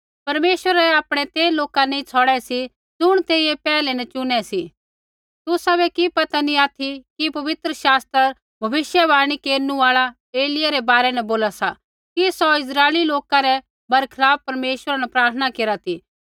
परमेश्वरै आपणै ते लौका नैंई छ़ौड़ै सी ज़ुण तेइयै पैहलै न चुनै सी तुसाबै कि पता नी ऑथि कि पवित्र शास्त्र भविष्यवाणी केरनु आल़ा एलिय्याह रै बारै न बोला सा कि सौ इस्राइली लोका रै बरखलाप परमेश्वरा न प्रार्थना केरा ती